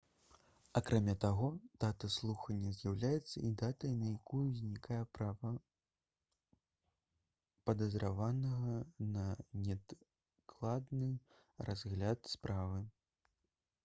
акрамя таго дата слухання з'яўляецца і датай на якую ўзнікае права падазраванага на неадкладны разгляд справы